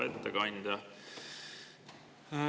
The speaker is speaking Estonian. Hea ettekandja!